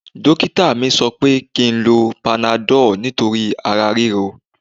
Dókítà mi sọ pé kí n lo panadọ́ọ̀ nítorí ara ríro